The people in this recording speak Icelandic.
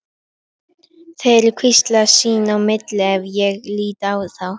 Þeir hvísla sín á milli ef ég lít á þá.